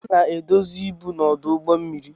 A na-edozi ibu na ọdụ ụgbọ mmiri.